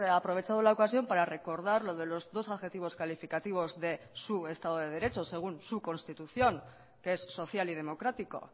aprovechado la ocasión para recordar lo de losdos adjetivos calificativos de su estado de derecho según su constitución que es social y democrático